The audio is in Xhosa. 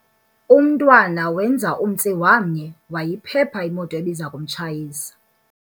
Umntwana wenza umtsi wamnye wayiphepha imoto ebiza kumtshayisa.